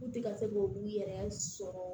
N tɛ ka se k'olu yɛrɛ sɔrɔ